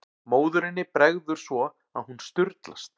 Móðurinni bregður svo að hún sturlast.